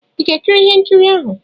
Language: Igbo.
ị ga-ekiri ihe nkiri ahụ?